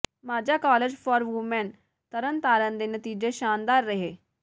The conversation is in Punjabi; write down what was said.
Majha college for women Tarn Taran ਦੇ ਨਤੀਜੇ ਸ਼ਾਨਦਾਰ ਰਹੇ